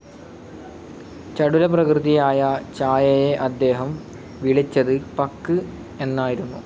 ചടുലപ്രകൃതിയായ ഛായയെ അദ്ദേഹം വിളിച്ചത് പക്ക്‌ എന്നായിരുന്നു.